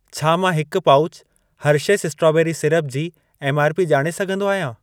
छा मां हिक पाउचु हेर्शेस स्ट्रॉबेरी सिरप जी एमआरपी ॼाणे सघंदो आहियां?